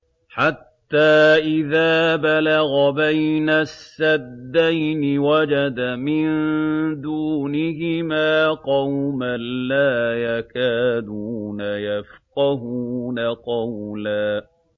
حَتَّىٰ إِذَا بَلَغَ بَيْنَ السَّدَّيْنِ وَجَدَ مِن دُونِهِمَا قَوْمًا لَّا يَكَادُونَ يَفْقَهُونَ قَوْلًا